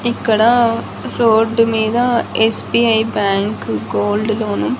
ఇక్కడ రోడ్డు మీద SBI bank gold loan .